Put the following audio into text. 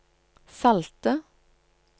salte